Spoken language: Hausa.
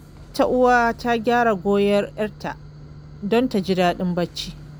Wata uwa ta gyara goyon ‘yarta don ta ji daɗin barci.